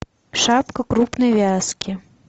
шапка крупной вязки